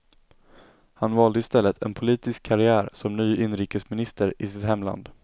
Han valde i stället en politisk karriär som ny inrikesminister i sitt hemland.